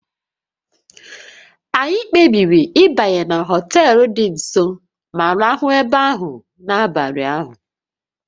Anyị kpebiri ịbanye na họtel dị nso ma rahụ ebe ahụ n'abalị ahụ